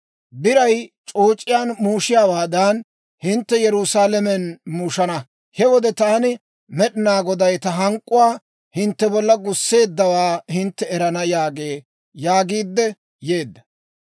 Biray c'ooc'iyaan muushiyaawaadan, hintte Yerusaalamen muushana. He wode taani Med'inaa Goday ta hank'k'uwaa hintte bolla gusseeddawaa hintte erana› yaagee» yaagiidde yeedda.